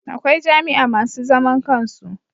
Akwai jami'a masu zaman kansu